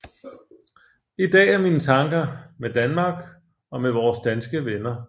I dag er mine tanker med Danmark og med vores danske venner